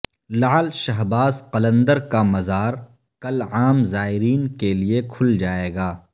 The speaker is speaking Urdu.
لعل شہباز قلندر کامزارکل عام زائرین کیلئے کھل جائیگا